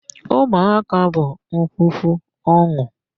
Ụmụaka bụ ngwugwu ọn̄ụ.